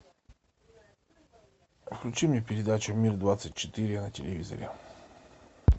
включи мне передачу мир двадцать четыре на телевизоре